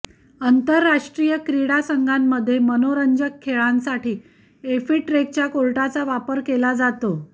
आंतर्राष्ट्रीय क्रीडा संघांमध्ये मनोरंजक खेळांसाठी एफिटरेकच्या कोर्टाचा वापर केला जातो